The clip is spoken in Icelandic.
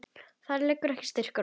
Þar liggur ekki styrkur okkar.